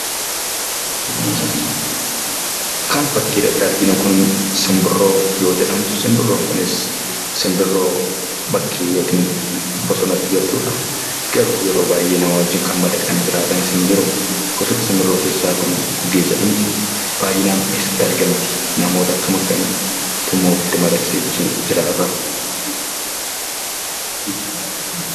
Kan fakkii irratti arginu kun, simbirroo yoo jedhamtu, simbirroon kunis, simbirroo bakki yookiin bosonatti galtudha. Garuu yeroo baayyee nama wajjin madaqanii kan jiraatan ni jiruu. Gosoota simbirroo keessa Kun gugee jedhamti. Baayyinaan eessatti argamti ? Namoota akkam akkamiitu immoo ofitti madaqsee jiraata?